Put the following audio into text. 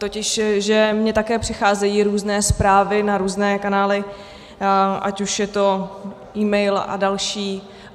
Totiž mně také přicházejí různé zprávy na různé kanály, ať už je to e-mail a další.